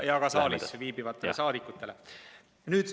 Ja ka saalis viibivatele saadikutele.